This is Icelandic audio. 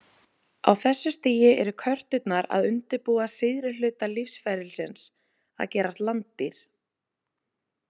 Á þessu stigi eru körturnar að undirbúa síðari hluta lífsferlisins, að gerast landdýr.